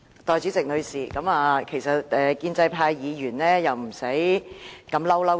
代理主席，其實建制派議員何須如此"嬲嬲豬"。